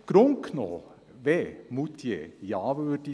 Im Grunde genommen, wenn Moutier Ja